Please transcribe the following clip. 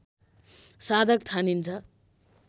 साधक ठानिन्छ